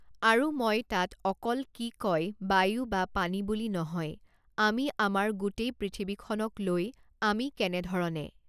আৰু মই তাত অকল কি কয় বায়ু বা পানী বুলি নহয় আমি আমাৰ গোটেই পৃথিৱীখনক লৈ আমি কেনেধৰণে